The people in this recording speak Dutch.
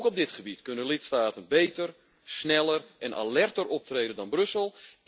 Ook op dit gebied kunnen lidstaten beter, sneller en alerter optreden dan Brussel.